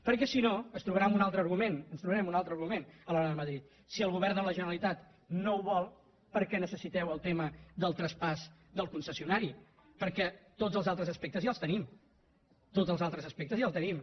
perquè si no es trobarà amb un altre argument ens trobarem un altre argument a l’hora d’anar a madrid si el govern de la generalitat no ho vol per què necessiteu el tema del traspàs del concessionari perquè tots els altres aspectes ja els tenim tots els altres aspectes ja els tenim